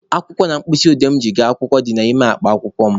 Akwụkwọ na mkpịsị odee mụ ji aga akwụkwọ dị n'ime akpa akwụkwọ mụ.